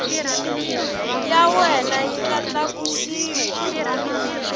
ya wena yi nga tlakusiwa